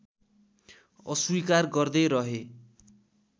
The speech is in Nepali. अस्वीकार गर्दै रहे